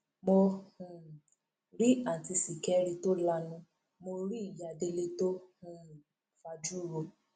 mo um rí àùntí ṣìkẹrì tó lanu mọ rí ìyá délé tó um fajú ro